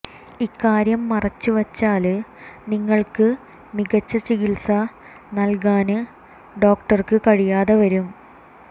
ഇക്കാര്യം മറച്ചുവച്ചാല് നിങ്ങള്ക്ക് മികച്ച ചികിത്സ നല്കാന് ഡോക്ടര്ക്ക് കഴിയാതെ വരും